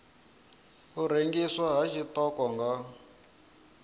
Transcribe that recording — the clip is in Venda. u rengiswa ha tshiṱoko nga